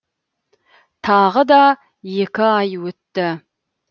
тағы да екі ай өтті